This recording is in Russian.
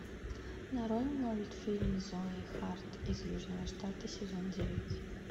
нарой мультфильм зои харт из южного штата сезон девять